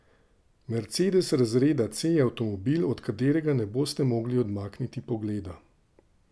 Mercedes razreda C je avtomobil, od katerega ne boste mogli odmakniti pogleda.